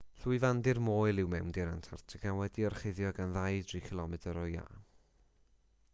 llwyfandir moel yw mewndir antarctica wedi'i orchuddio gan 2-3 km o iâ